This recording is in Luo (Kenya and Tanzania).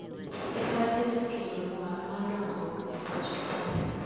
Mibadhi osekelo luar mag dongruok e pacho kae